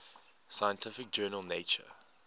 scientific journal nature